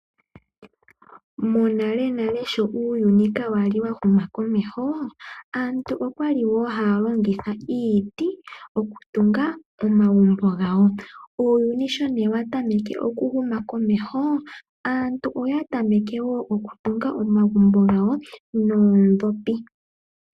Monalenale uuyuni sho kwali inaawu huma komeho, aantu okwali haya longitha iiti okutunga omagumbo gawo. Uuyuni sho wa tameke okuhuma komeho, aantu oya tameke woo okutunga omagumbo gawo noondhopi .